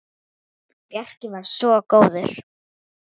Bjarki var svo góður.